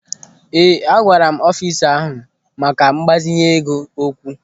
Ee, agwara m ọfisa na-ahụ maka mgbazinye ego okwu.